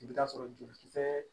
I bɛ taa sɔrɔ jolikisɛ